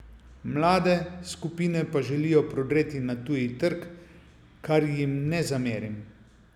Mlade skupine pa želijo prodreti na tuji trg, kar jim ne zamerim.